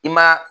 I ma